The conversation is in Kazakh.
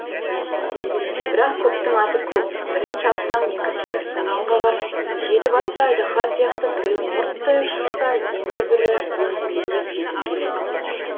бірақ көптің аты көп бірін шапсаң екіншісі сумаң қағар жеті басты айдаһар сияқты біреуін мұрттай ұшырса енді бірі өңмеңдеп жетіп келеді